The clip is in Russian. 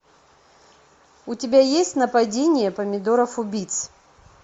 у тебя есть нападение помидоров убийц